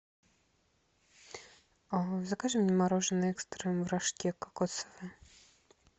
закажи мне мороженое экстрем в рожке кокосовое